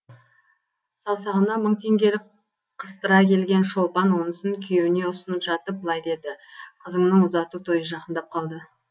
саусағына мың теңгелік қыстыра келген шолпан онысын күйеуіне ұсынып жатып былай деді қызыңның ұзату тойы жақындап қалды